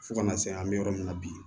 Fo kana se an bɛ yɔrɔ min na bi